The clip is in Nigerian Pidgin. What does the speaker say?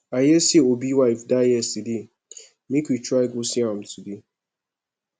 i hear say obi wife die yesterday make we try go see am today